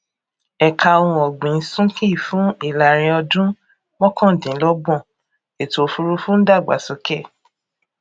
ẹka ohun ọgbìn súnkì fún ìlàrinọdún mọkàndínlọgbọn ètòòfùrúfú ń dàgbásókè